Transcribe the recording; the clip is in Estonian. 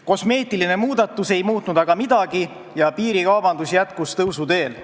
Kosmeetiline muudatus ei muutnud aga midagi ja piirikaubandus jätkus tõusuteel.